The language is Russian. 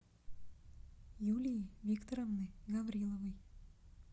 юлии викторовны гавриловой